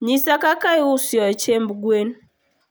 nyisa kaka iusoye chiemb gwen